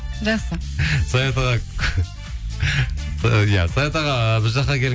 жақсы саят аға иә саят аға біз жаққа